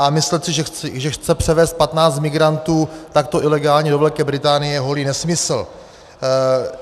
A myslet si, že chce převézt 15 migrantů takto ilegálně do Velké Británie, je holý nesmysl.